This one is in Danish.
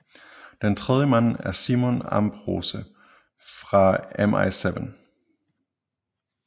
Den tredje mand er Simon Ambrose fra MI7